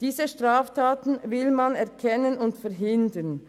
Diese Straftaten will man erkennen und verhindern.